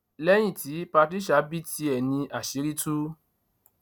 lẹyìn tí patricia bí tiẹ ní àṣírí tú